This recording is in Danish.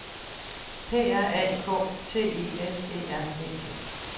P R A K T I S E R E T